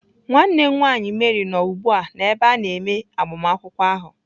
Nwanne m nwaanyị Mary nọ ugbu a n'ebe a na-eme agbamakwụkwọ ahụ.